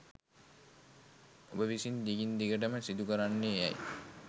ඔබ විසින් දිගින් දිගටම සිදුකරන්නේ යැයි